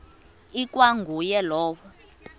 ikwa nguye lowo